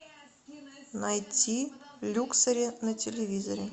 найти люксори на телевизоре